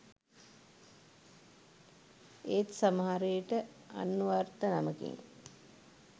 ඒත් සමහරවිට අන්වර්ථ නමකින්